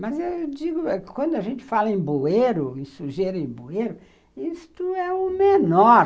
Mas, eu digo, quando a gente fala em bueiro, em sujeiro em bueiro, isso é o menor